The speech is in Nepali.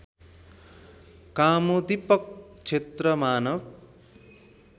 कामोद्दिपक क्षेत्र मानव